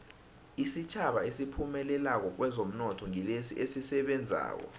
isitjhaba esiphumelelako kwezomnotho ngilesi esisebenzako